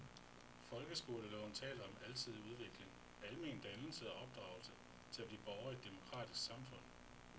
Folkeskoleloven taler om alsidig udvikling, almen dannelse og opdragelse til at blive borger i et demokratisk samfund.